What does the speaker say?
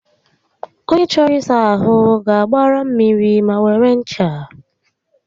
Ònye chọrọ ịsa ahụ ga-agbara mmiri ma were ncha